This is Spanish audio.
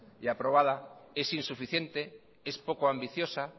y aprobada es insuficiente es poco ambiciosa